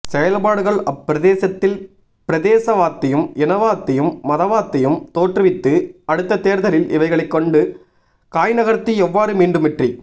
செயல்பாடுகள் அப்பிரதேசத்தில் பிரதேசவாத்தையும் இனவாத்தையும் மதவாத்தையும் தோற்றுவித்து அடுத்த தேர்தலில் இவைகளை கொண்டு காய்நகர்த்தி எவ்வாறு மீண்டும்வெற்றி